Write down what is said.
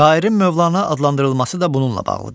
Şairin Mövlana adlandırılması da bununla bağlıdır.